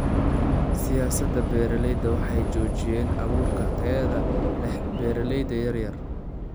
Siyaasadaha beeralayda waxay xoojiyaan abuurka tayada leh ee beeralayda yaryar.